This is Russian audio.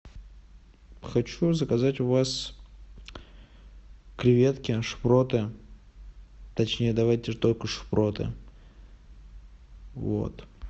хочу заказать у вас креветки шпроты точнее давайте только шпроты вот